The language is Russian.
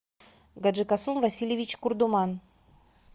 гаджикасум васильевич курдуман